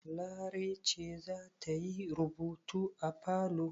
Larai ce za ta yi rubutu a falo?